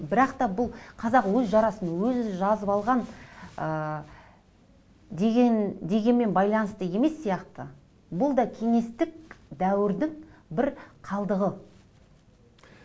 бірақ та бұл қазақ өз жарасын өзі жазып алған ы дегенмен байланысты емес сияқты бұл да кеңестік дәуірдің бір қалдығы